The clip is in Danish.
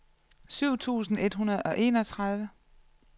syv tusind et hundrede og enogtredive